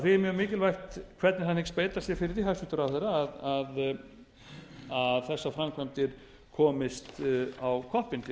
er mjög mikilvægt hvernig hann hyggst beita sér fyrir því hæstvirtur ráðherra að þessar framkvæmdir komist á koppinn